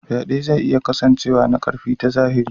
Faɗe zai iya kasancewa ta ƙarfi na zahiri.